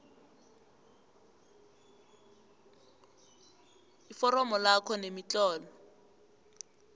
iforomo lakho nemitlolo